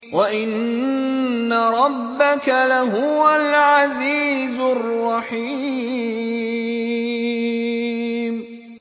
وَإِنَّ رَبَّكَ لَهُوَ الْعَزِيزُ الرَّحِيمُ